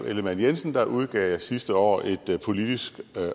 ellemann jensen udgav jeg sidste år et politisk